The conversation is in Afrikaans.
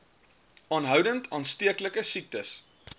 aanhoudend aansteeklike siektes